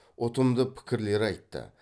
ұтымды пікірлер айтты